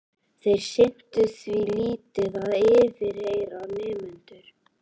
Þeir sinntu því lítið að yfirheyra nemendur.